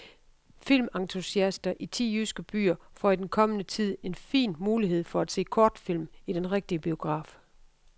Filmentusiaster i ti jyske byer får i den kommende tid en fin mulighed for at se kortfilm i den rigtige biograf.